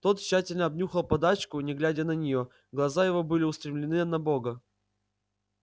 тот тщательно обнюхал подачку не глядя на неё глаза его были устремлены на бога